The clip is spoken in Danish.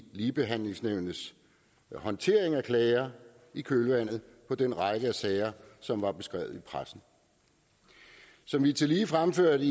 ligebehandlingsnævnets håndtering af klager i kølvandet på den række af sager som var beskrevet i pressen som vi tillige fremførte